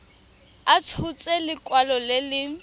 a tshotse lekwalo le le